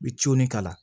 I bi k'a la